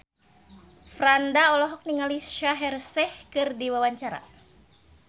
Franda olohok ningali Shaheer Sheikh keur diwawancara